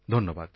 ধন্যবাদ